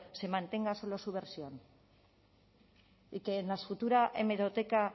se mantenga solo su versión y que en la futura hemeroteca